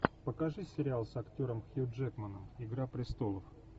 покажи сериал с актером хью джекманом игра престолов